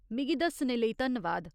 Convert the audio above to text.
मिगी दस्सने लेई धन्नवाद।